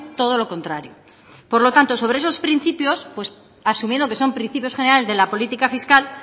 todo lo contrario por lo tanto sobre esos principios asumiendo que son principios generales de la política fiscal